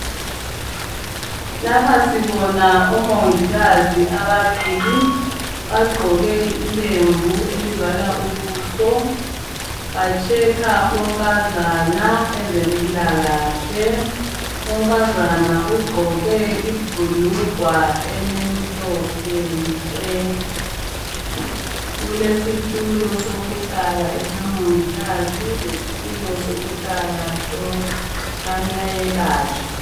Lapha sibona omongikazi ababili bagqoke ilembu elivala ubuso bahlola unkazana ezempilakahle. Unkazana ugqoke ibhulugwa elimhlophe nke. Kulesitulo sokuhlala esikamongikazi lesikamayelatshwa.